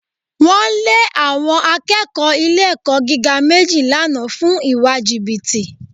Wọ́n lé àwọn akẹ́kọ̀ọ́ ilé-ẹ̀kọ́ gíga méjì lánàá fún ìwà jìbìtì